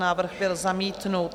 Návrh byl zamítnut.